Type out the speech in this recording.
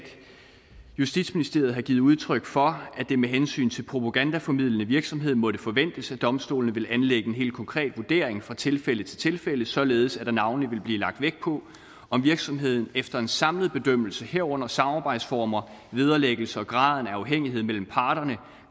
justitsministeriet har givet udtryk for at det med hensyn til den propagandaformidlende virksomhed måtte forventes at domstolene ville anlægge en helt konkret vurdering fra tilfælde til tilfælde således at der navnlig ville blive lagt vægt på om virksomheden efter en samlet bedømmelse herunder samarbejdsformer vederlæggelse og graden af afhængighed mellem parterne